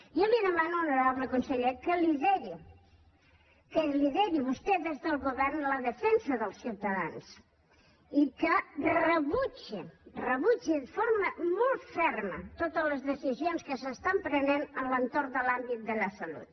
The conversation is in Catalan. jo li demano honorable conseller que lideri vostè des del govern la defensa dels ciutadans i que rebutgi de forma molt ferma totes les decisions que es prenen a l’entorn de l’àmbit de la salut